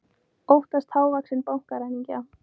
Óttast hávaxinn bankaræningja